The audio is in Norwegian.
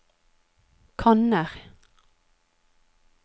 kanner